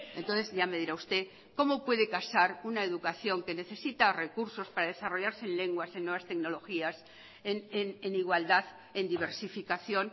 entonces ya me dirá usted como puede casar una educación que necesita recursos para desarrollarse en lenguas en nuevas tecnologías en igualdad en diversificación